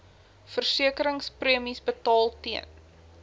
versekeringspremies betaal ten